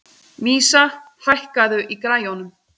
Vísa, hækkaðu í græjunum.